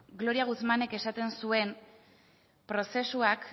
gloria guzmánek esaten zuen prozesuak